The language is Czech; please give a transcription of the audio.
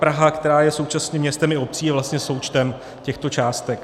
Praha, která je současně městem i obcí, je vlastně součtem těchto částek.